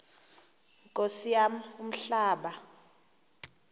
nkosi yam umhlaba